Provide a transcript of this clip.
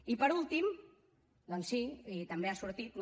i per últim doncs sí i també ha sortit no